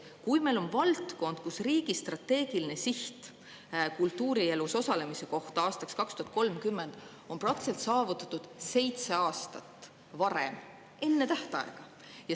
Meil on valdkond, kus riigi strateegiline siht, kultuurielus osalemine aastaks 2030, on praktiliselt saavutatud seitse aastat enne tähtaega.